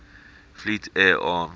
fleet air arm